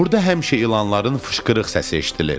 Burda həmişə ilanların fışqırıq səsi eşidilir.